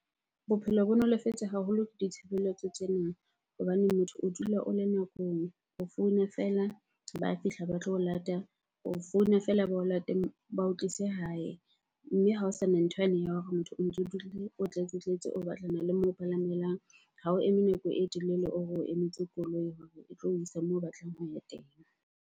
Bophelo bo nolofetse haholo ke ditshebeletso tsena hobane motho o dula o le nakong. O founa fela, ba fihla ba tlo o lata. O founa fela, ba o late ba o tlise hae. Mme hao sana ntho yane ya hore motho o ntso o o tletsetletse, o batlana le moo palamelang. Ha o eme nako e telele, o re o emetse koloi hore e tlo o isa moo o batlang ho ya teng.